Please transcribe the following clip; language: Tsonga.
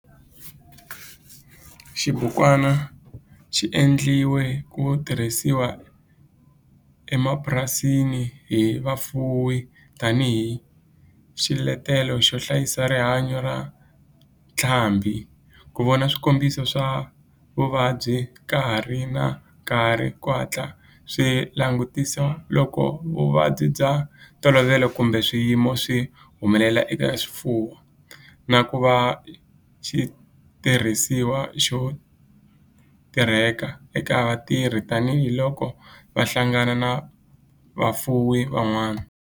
Xibukwana xi endliwe ku tirhisiwa emapurasini hi vafuwi tani hi xiletelo xo hlayisa rihanyo ra ntlhambhi, ku vona swikombiso swa vuvabyi ka ha ri na nkarhi ku hatla swi langutisiwa loko vuvabyi bya ntolovelo kumbe swiyimo swi humelela eka swifuwo, na ku va xitirhisiwa xo tirhiseka eka vatirhi tani hi loko va hlangana na vafuwi van'wana.